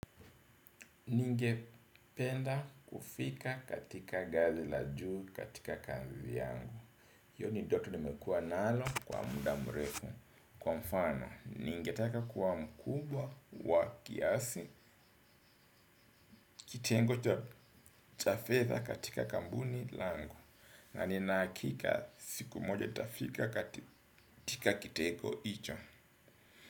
Ningependa kufika katika ngazi la juu katika kazi yangu hiyo ni ndoto nimekuwa nalo kwa muda mrefu, kwa mfano ningetaka kuwa mkubwa wa kiasi. Kitengo cha fedha katika kampuni langu. Na nina hakika siku moja nitafika katika kitengo hicho.